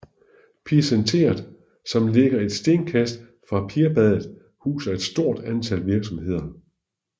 Pirsenteret som ligger et stenkast fra Pirbadet huser et stort antal virksomheder